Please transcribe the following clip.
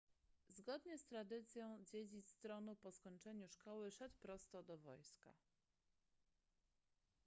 zgodnie z tradycją dziedzic tronu po skończeniu szkoły szedł prosto do wojska